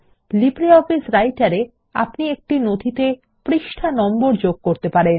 LibreOffice Writer এ আপনি একটি নথিতে পৃষ্ঠা নম্বর যোগ করতে পারবেন